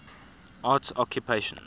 arts occupations